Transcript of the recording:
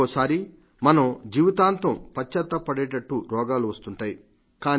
ఒక్కొక్క సారి మనం జీవితాంతం పశ్చాత్తాపపడేట్టు రోగాలు వస్తుంటాయి